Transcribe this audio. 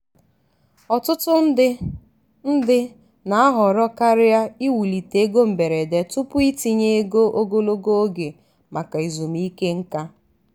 ọtụtụ ndị ndị na-ahọrọ karịa iwulite ego mberede tupu itinye ego ogologo oge maka ezumike nka.